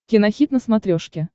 кинохит на смотрешке